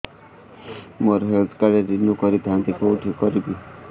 ମୋର health card renew କରିଥାନ୍ତି କୋଉଠି କରିବି